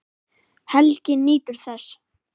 Helgi nýtur þess.